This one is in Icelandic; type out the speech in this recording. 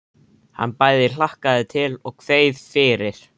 Hann bæði hlakkaði til og kveið fyrir.